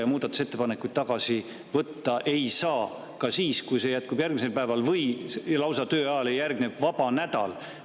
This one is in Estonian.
Kas muudatusettepanekuid ei saa tagasi võtta ka siis, kui jätkub järgmisel päeval või tööajale järgneb lausa vaba nädal?